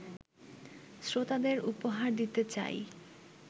শ্রোতাদের উপহার দিতে চাই